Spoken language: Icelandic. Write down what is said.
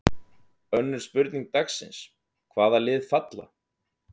Önnur spurning dagsins: Hvaða lið falla?